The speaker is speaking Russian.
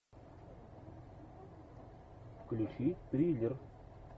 включи триллер